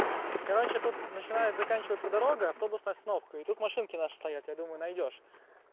короче тут начинает заканчиваться дорога автобусной остановкой и тут машинки наши стоят я думаю найдёшь